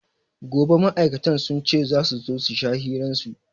Gobe ma'auratan sun ce za su sha hiran su.